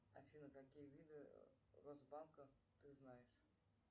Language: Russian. афина какие виды росбанка ты знаешь